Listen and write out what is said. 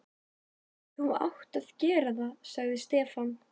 Þú átt að gera það, sagði Stefán.